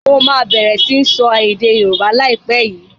Mo máa bẹ̀rẹ̀ sini sọ èdè Yorùbá lai pẹ̀ yìí